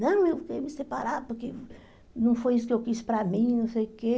Não, eu queria me separar porque não foi isso que eu quis para mim, não sei o quê.